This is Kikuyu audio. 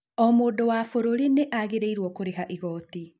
O mũndũ wa bũrũri nĩ agĩrĩirũo kũrĩha ĩgooti.